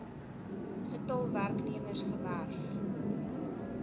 getal werknemers gewerf